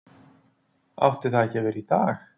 Átti það ekki að vera í dag?